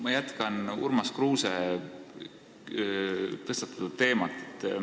Ma jätkan Urmas Kruuse tõstatatud teemat.